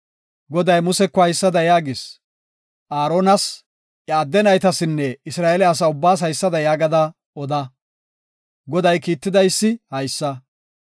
“Aaronas iya adde naytasinne Isra7eele asa ubbaas haysada yaagada oda; Goday kiittidaysi haysa;